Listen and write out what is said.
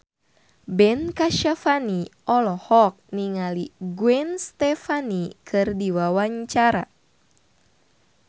Ben Kasyafani olohok ningali Gwen Stefani keur diwawancara